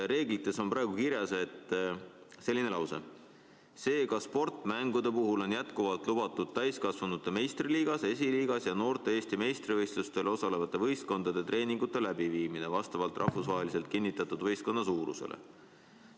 Reeglites on praegu kirjas selline lause: "Seega, sportmängude puhul on jätkuvalt lubatud täiskasvanute meistriliigas, esiliigas ja noorte Eesti meistrivõistlustel osalevate võistkondade treeningute läbiviimine vastavalt rahvusvaheliselt kinnitatud võistkonna suurusele.